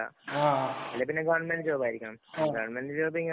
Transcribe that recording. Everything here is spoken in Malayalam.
ആ, ആ